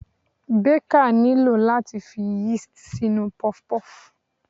Baker nílò láti fi yeast sínú puff-puff.